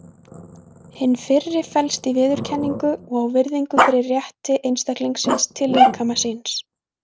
Hin fyrri felst í viðurkenningu á og virðingu fyrir rétti einstaklingsins til líkama síns.